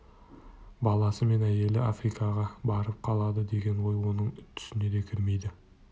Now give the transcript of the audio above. баласы мен әйелі африкаға барып қалады деген ой оның түсіне де кірмейді